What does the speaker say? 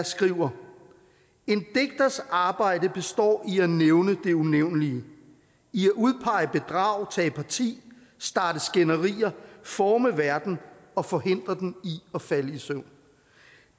skriver en digters arbejde består i at nævne det unævnelige i at udpege bedrag tage parti starte skænderier forme verden og forhindre den i at falde i søvn